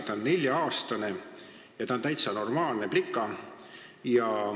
Ta on nelja-aastane ja ta on täitsa normaalne plika.